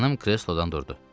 Xanım kreslodan durdu.